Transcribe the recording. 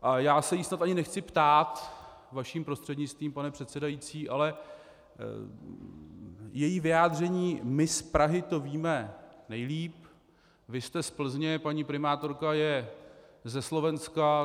A já se jí snad ani nechci ptát, vaším prostřednictvím, pane předsedající, ale její vyjádření: my z Prahy to víme nejlíp, vy jste z Plzně, paní primátorka je ze Slovenska...